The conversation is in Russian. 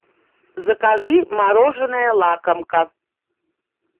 закажи мороженое лакомка